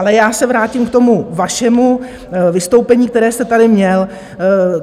Ale já se vrátím k tomu vašemu vystoupení, které jste tady měl.